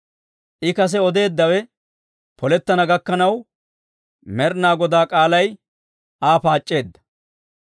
I kase odeeddawe polettana gakkanaw, Med'inaa Godaa k'aalay Aa paac'c'eedda.